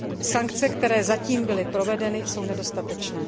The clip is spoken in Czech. Sankce, které zatím byly provedeny, jsou nedostatečné.